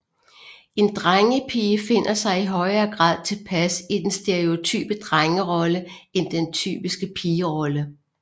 En drengepige finder sig i højere grad tilpas i den stereotype drengerolle end den typiske pigerolle